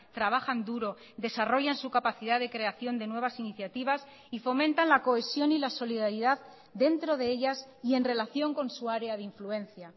trabajan duro desarrollan su capacidad de creación de nuevas iniciativas y fomentan la cohesión y la solidaridad dentro de ellas y en relación con su área de influencia